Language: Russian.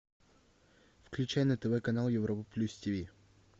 включай на тв канал европа плюс тиви